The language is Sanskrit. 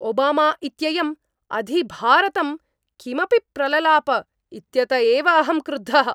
ओबामा इत्ययं अधिभारतं किमपि प्रललाप इत्यत एव अहं क्रुद्धः।